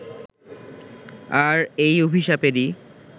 আর এই অভিশাপেরই